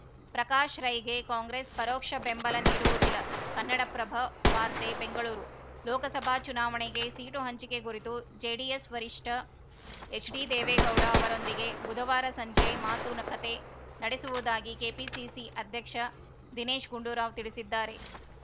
ಪ್ರಕಾಶ್‌ ರೈಗೆ ಕಾಂಗ್ರೆಸ್‌ ಪರೋಕ್ಷ ಬೆಂಬಲ ನೀಡುವುದಿಲ್ಲ ಕನ್ನಡಪ್ರಭ ವಾರ್ತೆ ಬೆಂಗಳೂರು ಲೋಕಸಭಾ ಚುನಾವಣೆಗೆ ಸೀಟು ಹಂಚಿಕೆ ಕುರಿತು ಜೆಡಿಎಸ್‌ ವರಿಷ್ಠ ಎಚ್‌ಡಿ ದೇವೇಗೌಡ ಅವರೊಂದಿಗೆ ಬುಧವಾರ ಸಂಜೆ ಮಾತುನಕತೆ ನಡೆಸುವುದಾಗಿ ಕೆಪಿಸಿಸಿ ಅಧ್ಯಕ್ಷ ದಿನೇಶ್‌ ಗುಂಡೂರಾವ್‌ ತಿಳಿಸಿದ್ದಾರೆ